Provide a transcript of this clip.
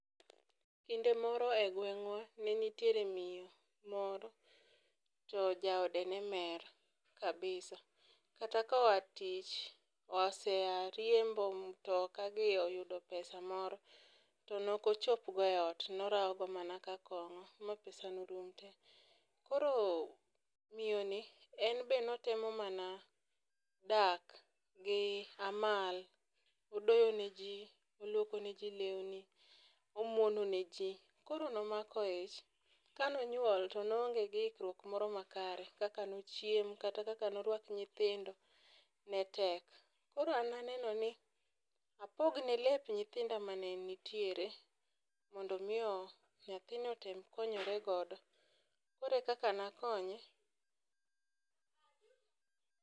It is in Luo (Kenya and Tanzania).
Kinde moro e gweng'wa ne nitiere miyo moro to jaode ne mer kabisa kata koa tich osea riembo mtokagi oyudo pesa moro to nokochopgo e ot, norawogo mana ka kong'o ma pesano rum te. Koro miyoni en be notemo mana dak gi amal; odoyo ne ji, olwoko ne ji lewni, omwonone ji. Koro nomako ich, kanonywol to noonge gi ikruok moro makare, kaka nochiem, kata kaka norwak nyithindo ne tek. Koro an naneno ni apogne lep nyithinda mane nitiere mondo omi nyathino otem konyoregodo koro ekaka nakonye.